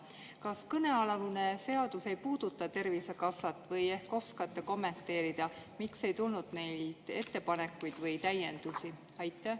Kas kõnealune seadus ei puuduta Tervisekassat või ehk oskate kommenteerida, miks ei tulnud neilt ettepanekuid või täiendusi?